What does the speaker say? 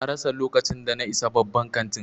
Na rasa lokacin da na isa babban kantin.